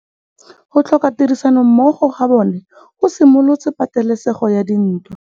Go tlhoka tirsanommogo ga bone go simolotse patêlêsêgô ya ntwa.